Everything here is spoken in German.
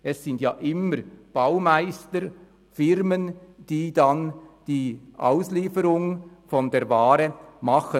Es sind ja immer Baumeister, Firmen, die dann die Auslieferung der Ware machen.